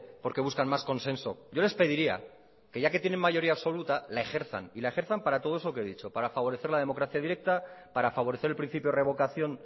porque buscan más consenso yo les pediría que ya que tiene mayoría absoluta la ejerzan y la ejerzan para todo eso que he dicho para favorecer la democracia directa para favorecer el principio de revocación